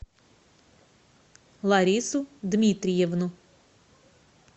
ларису дмитриевну